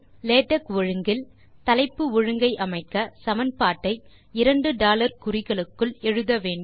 LaTeX ஒழுங்கில் தலைப்பு ஒழுங்கை அமைக்க சமன்பட்டை இரண்டு டாலர் குறிகளுக்குள் எழுத வேண்டும்